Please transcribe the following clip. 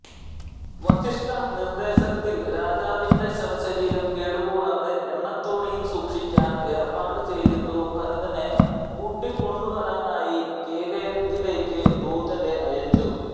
വസിഷ്ഠനിർദേശത്തിൽ രാജാവിന്റെ ശവ ശരീരം കേടുകൂടാതെ എണ്ണതോണിയിൽ സൂക്ഷിക്കാൻ ഏർപ്പാട് ചെയ്തിട്ടു ഭരതനെ കൂട്ടികൊണ്ടുവരാനായി കേകയത്തിലേക്കു ദൂതരെ അയച്ചു